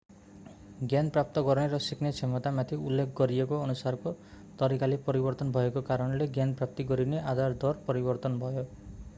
ज्ञान प्राप्त गर्ने र सिक्ने क्षमतामाथि उल्लेख गरिएको अनुसारको तरिकाले परिवर्तन भएको कारणले ज्ञान प्राप्त गरिने आधार दर परिवर्तन भयो